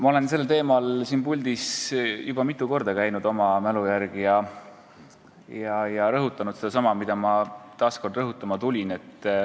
Ma olen sel teemal siin puldis juba mitu korda rääkimas käinud ja oma mälu järgi rõhutanud sedasama, mida ma veel kord rõhutama tulin.